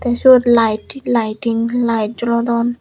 ei seyot lite laiting lite jolodon.